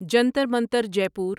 جنتر منتر جے پور